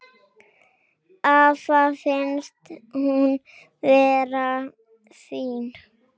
Afa fannst hún vera fín.